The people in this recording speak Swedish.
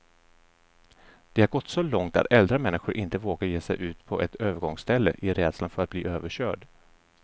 Det har gått så långt att äldre människor inte vågar ge sig ut på ett övergångsställe, i rädslan för att bli överkörd.